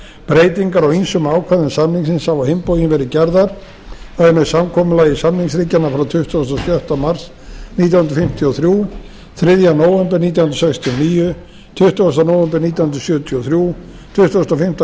breytingar á ýmsum ákvæðum samningsins hafa á hinn bóginn verið gerðar það er með samkomulagi samningsríkjanna frá tuttugasta og sjötta mars nítján hundruð fimmtíu og þrjú þriðja nóvember nítján hundruð sextíu og níu tuttugasta nóvember nítján hundruð sjötíu og þrjú tuttugasta og fimmta